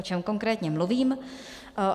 O čem konkrétně mluvím?